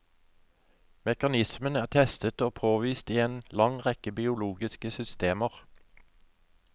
Mekanismen er testet og påvist i en lang rekke biologiske systemer.